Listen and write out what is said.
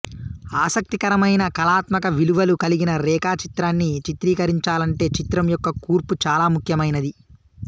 ఆసక్తికరమైన కళాత్మక విలువలు కలిగిన రేఖాచిత్రాన్ని చిత్రీకరించాలంటే చిత్రం యొక్క కూర్పు చాలా ముఖ్యమైనది